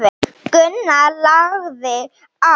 Gunnar lagði á.